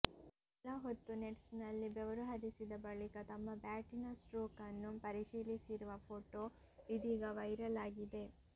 ಕೆಲ ಹೊತ್ತು ನೆಟ್ಸ್ನಲ್ಲಿ ಬೆವರು ಹರಿಸಿದ ಬಳಿಕ ತಮ್ಮ ಬ್ಯಾಟಿನ ಸ್ಟ್ರೋಕ್ ನ್ನು ಪರಿಶೀಲಿಸಿರುವ ಫೋಟೋ ಇದೀಗ ವೈರಲ್ ಆಗಿದೆ